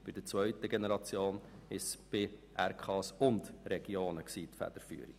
Bei der zweiten Generation lag die Federführung bei den Regionalkonferenzen und den Regionen.